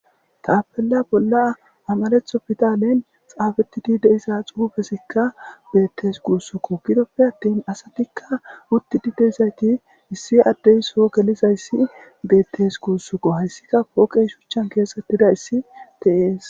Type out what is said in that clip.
Tappela bola amaraththo piddalen xafetida deiiza xuffezikka bettes guussuko giidoppe attin assatika uttidi diizayssi issi addey soho gellizayssi bettes gussuko hayssika pooqey shuchchan kexxetidayssi de'essi.